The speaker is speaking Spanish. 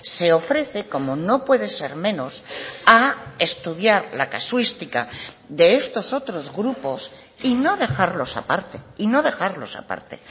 se ofrece como no puede ser menos a estudiar la casuística de estos otros grupos y no dejarlos a parte y no dejarlos a parte